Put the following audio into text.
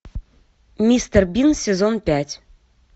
мистер бин сезон пять